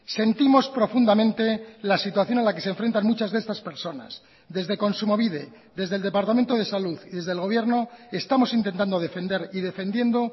sentimos profundamente la situación a la que se enfrentan muchas de estas personas desde kontsumobide desde el departamento de salud y desde el gobierno estamos intentando defender y defendiendo